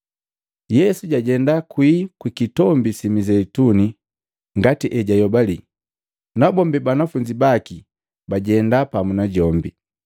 Yesu jajenda kwi Kitombi si Mizeituni ngati ejajoyobali, nabombi banafunzi baki bajenda pamu najombi.